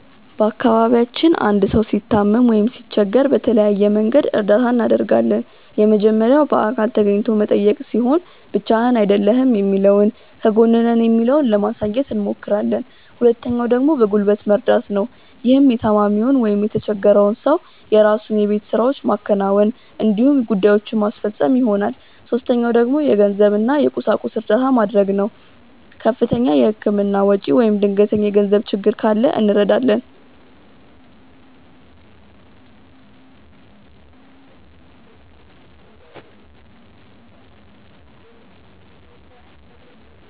በአካባቢያችን አንድ ሰው ሲታመም ወይም ሲቸገር በተለያየ መንገድ እርዳታ እናደርጋለን። የመጀመሪያው በአካል ተገኝቶ መጠየቅ ሲሆን ብቻህን አይደለህም የሚለውን ከጎንህ ነን የሚለውን ለማሳየት አብሞክራለን። ሁለተኛው ደግሞ በጉልበት መርደት ነው። ይህም የታማሚውን ወይም የተቸፈረውን ሰው የራሱን የቤት ውስጥ ስራዎች ማከናወን እንዲሁም ጉዳዬችን ማስፈፀን ይሆናል። ሶስተኛው ደግሞ የገንዘብ እና የቁሳቁስ እርዳታ መድረግ ነው። ከፍተኛ የህክምና ወጪ ወይም ድንገተኛ የገንዘብ ችግር ካለ እንረዳለን።